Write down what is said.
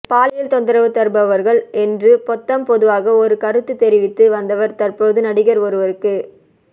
பாலியல் தொந்தரவு தருபவர்கள் என்று பொத்தாம்பொதுவாக ஒரு கருத்து தெரிவித்து வந்தவர் தற்போது நடிகர் ஒருவருக்கு